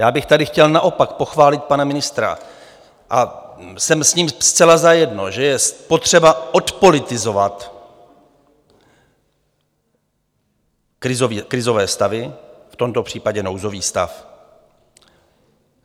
Já bych tady chtěl naopak pochválit pana ministra, a jsem s ním zcela zajedno, že je potřeba odpolitizovat krizové stavy, v tomto případě nouzový stav.